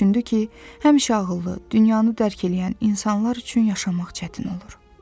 Düşündü ki, həmişə ağıllı, dünyanı dərk eləyən insanlar üçün yaşamaq çətin olur.